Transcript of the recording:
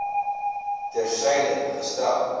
ter syde gestel